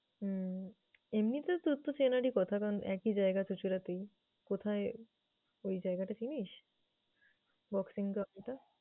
হম এমনিতে তোর তো চেনারই কথা কারণ একই জায়গা চুঁচুড়াতেই। কোথায় ওই জায়গাটা চিনিস? boxing ground এটা?